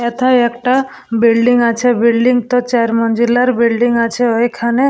এথায় একটা বিল্ডিং আছে বিল্ডিং টো চার মঞ্জিলের বিল্ডিং আছে ঐখানে।